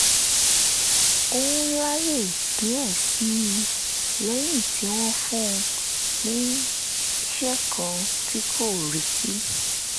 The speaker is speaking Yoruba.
òun láyè díẹ̀ sí i lẹ́yìn tí wọ́n fún un níṣẹ́ kan tí kò retí